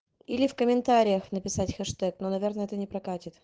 или в комментариях написать хэштэг но наверное это не прокатят